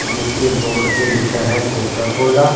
जिसके बोर्ड पे लिखा है कोका कोला --